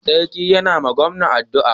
sarki ya na ma gawan addua